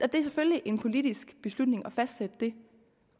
det er selvfølgelig en politisk beslutning at fastsætte det